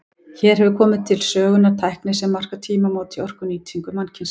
Hér hefur komið til sögunnar tækni sem markar tímamót í orkunýtingu mannkynsins.